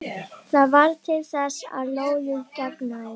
Það varð til þess að lóðið geigaði.